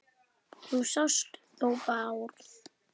Þú sást þó Bárð?